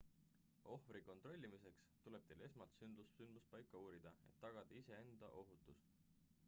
ohvri kontrollimiseks tuleb teil esmalt sündmuspaika uurida et tagada iseenda ohutus